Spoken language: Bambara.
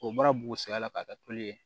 O bɔra bugun sɛgɛn la ka kɛ toli ye